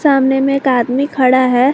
सामने में एक आदमी खड़ा है।